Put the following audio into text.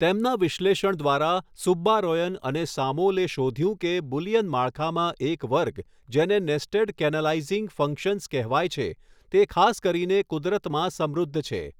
તેમના વિશ્લેષણ દ્વારા, સુબ્બારોયન અને સામૉલે શોધ્યું કે બુલિયન માળખામાં એક વર્ગ જેને નેસ્ટેડ કેનાલાઈઝીંગ ફંક્શન્સ કહેવાય છે તે ખાસ કરીને કુદરતમાં સમૃદ્ધ છે.